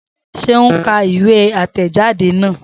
Seun ka ìwé àtẹ̀jadé náà